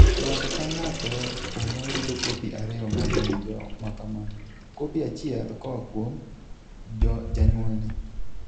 Ng'ato ka ng'ato kuomwa yudo kopi ariyo mag ng'injo ma kamano, kopi achiel koa kuom janyuolne.